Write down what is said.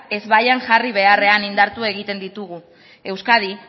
ezbaian jarri beharrean indartu egiten ditugu euskadi